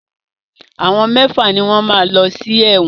Àwọn mẹ́fà ni wọ́n máa lọ sí ẹ̀wọ̀n.